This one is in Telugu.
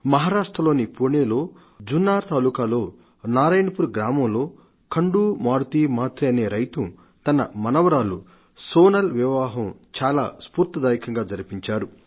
మహారాష్ట్రలోని పుణేలో జున్నార్ తాలూకాలో నారాయణపూర్ గ్రామంలో ఖండు మారుతి మాత్రే అనే రైతు తన మనవరాలు సొనాల్ వివాహం చాలా స్ఫూర్తిదాయంకంగా జరిపించారు